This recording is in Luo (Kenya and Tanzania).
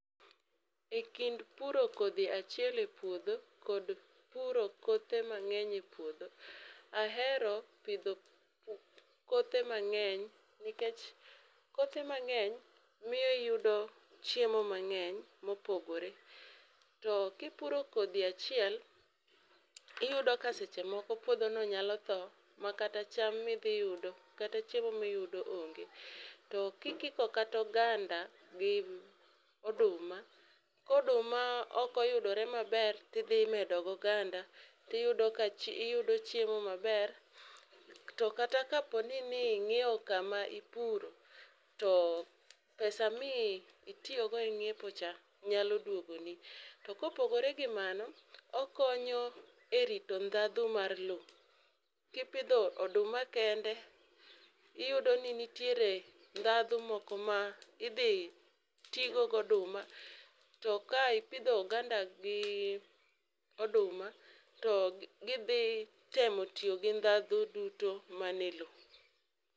e kind puro kodhi achiel e puodho kod puro kothe mang'eny e puodho, ahero pidho kothe mang'eny nikech kothe mang'eny miyo iyudo chiemo mang'eny mopogore. To kipuro kodhi achiel tiyudo ni puodho no nyalo tho makata cham midhi yudo kata chiemo miyudo onge. To kikiko kata oganda gi oduma ka oduma ok oyudore maber tidhi medo goganda tiyudo ka tiyudo chiemo maber to kata kapo ni ing'iyo kama ipuro to pesa mi itiyo godo e nyiepo cha nyalo duogoni . To kopogore gi mano, okonyo e rito ndhadhu mar lowo kipidho oduma kende iyudo ni nitiere ndhadhu moko ma idhi tigo goduma to ka ipidho oganda gi oduma to gidhi tiyo gi ndhadhu duto man e lowo.